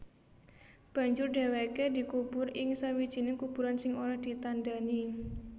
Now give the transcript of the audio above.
Banjur dhèwèké dikubur ing sawijining kuburan sing ora ditandhani